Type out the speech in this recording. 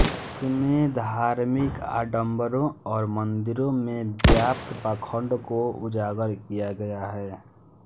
इसमें धार्मिक आडंबरों औ्र मंदिरों में व्याप्त पाखंड को उजागर किया गया है